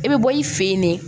I bɛ bɔ i fɛ yen de